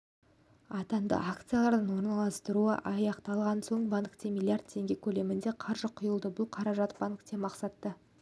атанды акциялардың орналастырылуы аяқталған соң банкке миллиард теңге көлемінде қаржы құйылды бұл қаражат банкке мақсатты